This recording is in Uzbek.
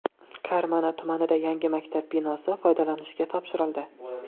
Karmana tumanida yangi maktab binosi foydalanishga topshirildi.